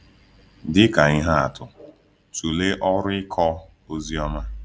Dị ka ihe atụ, tụlee ọrụ ịkọ ozi ọma.